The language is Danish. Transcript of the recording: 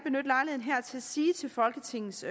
jeg sige til folketingets